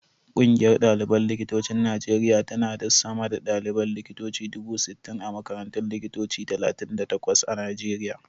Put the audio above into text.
Ƙungiyar ɗaliban likitocin Najeriya tana da sama da ɗaliban likitoci dubu sittin a makarantun likitoci talatin da takwas a Najeriya.